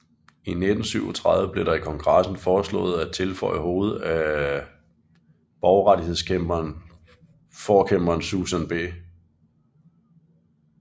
I 1937 blev der i kongressen foreslået at tilføje hovedet af borgerrettighedsforkæmperen Susan B